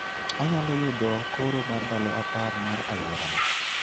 Anyalo yudo koro mar ndalo apar mar aluorana